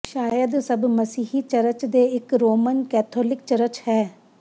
ਸ਼ਾਇਦ ਸਭ ਮਸੀਹੀ ਚਰਚ ਦੇ ਇੱਕ ਰੋਮਨ ਕੈਥੋਲਿਕ ਚਰਚ ਹੈ